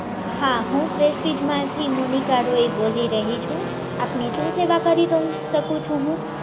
હા હું પ્રેસ્ટીજ માંથી મોનિકા રોય બોલી રહી છું. આપની શું સેવા કરી શકું છું